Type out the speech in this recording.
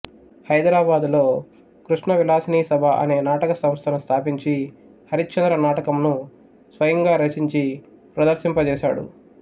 హైదరాబాదులో కృష్ణ విలాసినీ సభ అనే నాటక సంస్థను స్థాపించి హరిశ్చంద్ర నాటకంను స్వయముగా రచించి ప్రదర్శింపజేశాడు